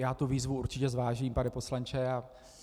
Já tu výzvu určitě zvážím, pane poslanče.